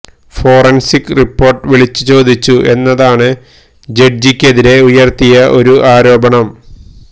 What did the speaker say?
forensic report വിളിച്ചു ചോദിച്ചു എന്നതാണ് ജഡ്ജിക്കെതിരെ ഉയർത്തിയ ഒരു ആരോപണം